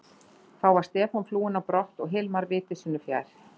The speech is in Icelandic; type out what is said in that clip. Þá var Stefán flúinn á brott og Hilmar viti sínu fjær.